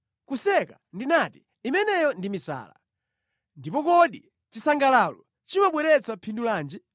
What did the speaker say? “Kuseka,” ndinati, “imeneyo ndi misala. Ndipo kodi chisangalalo chimabweretsa phindu lanji?”